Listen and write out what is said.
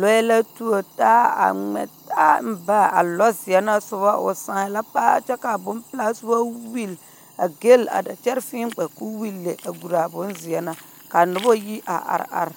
Lͻԑ la tuori taa a ŋmԑ taa mba a lͻzeԑ na soba o sãã la paa kyԑ kaa bompelaa soba welle a gelli a da kyԑre fēē gba koo welli le a guraa a bonzeԑ na, kaa noba yi a are are.